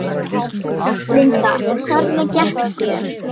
Linda: Hvernig gekk þér?